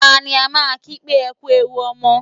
Ta ni a máa ń kí pé "Ẹ kú ewu ọmọ"?